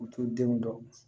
U t'u denw dɔn